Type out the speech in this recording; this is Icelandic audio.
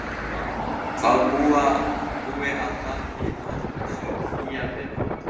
Hvað búi að baki þessu hlýja viðmóti.